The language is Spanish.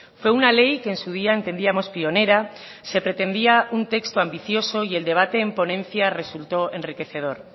fue una ley que en su día entendíamos pionera se pretendía un texto ambicioso y el debate en ponencia resulto enriquecedor